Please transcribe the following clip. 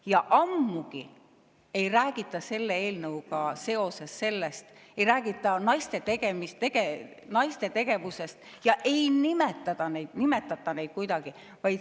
Ja ammugi ei räägita selle eelnõuga seoses naiste tegevusest ega nimetata neid kuidagi.